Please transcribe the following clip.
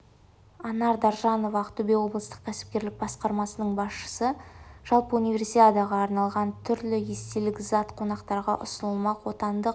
анар даржанова ақтөбе облыстық кәсіпкерлік басқармасының басшысы жалпы универсиадаға арналған түрлі естелік зат қонақтарға ұсынылмақ отандық